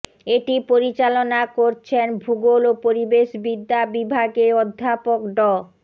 এটি পরিচালনা করছেন ভূগোল ও পরিবেশবিদ্যা বিভাগের অধ্যাপক ড